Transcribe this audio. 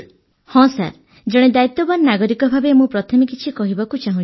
ହଁ ସାର୍ ଜଣେ ଦାୟିତ୍ୱବାନ ନାଗରିକ ଭାବେ ମୁଁ ପ୍ରଥମେ କିଛି କହିବାକୁ ଚାହୁଁଛି